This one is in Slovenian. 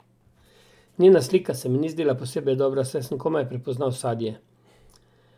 Njena slika se mi ni zdela posebej dobra, saj sem komaj prepoznala sadje.